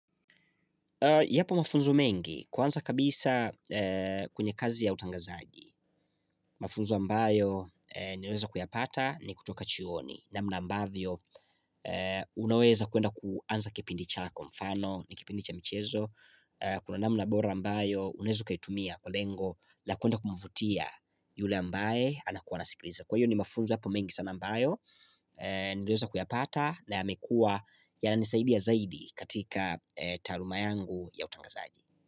Yapo mafunzo mengi, kwanza kabisa kwenye kazi ya utangazaji. Mafunzo ambayo ninaweza kuyapata ni kutoka chuoni. Namna ambavyo, unaweza kwenda kuanza kipindi chako kwa mfano, ni kipindi cha michezo. Kuna namna bora ambayo, unaeza ukaitumia kwa lengo, la kuenda kumvutia yule ambaye anakua anasikiliza. Kwa hiyo ni mafunzo hapo mengi sana ambayo Niliweza kuyapata na yamekua yananisaidia zaidi katika taaluma yangu ya utangazaji.